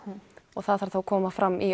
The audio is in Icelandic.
og það þarf þá að koma fram í